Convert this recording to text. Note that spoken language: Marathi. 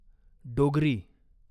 डोगरी